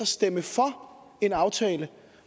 stemme for en aftale